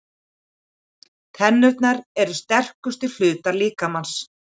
Tennurnar eru sterkustu hlutar líkamans.